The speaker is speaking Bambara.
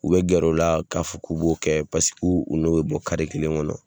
U bɛ gɛr'o la k'a fɔ k'u b'o kɛ paseke u n'o bɛ bɔ kare kelen kɔnɔ.